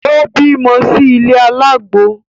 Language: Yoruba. Ó bímọ sí ilé alágbo